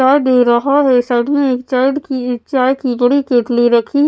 चाय दे रहा है साइड में एक चायड की चाय की बड़ी केतली रखी --